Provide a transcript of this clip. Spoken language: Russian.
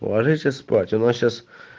ложитесь спать у нас сейчас